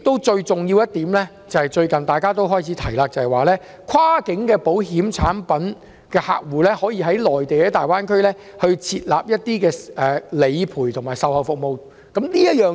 最重要的一點，便是最近大家開始提出有關跨境保險產品可以在大灣區為客戶提供理賠和售後服務的建議。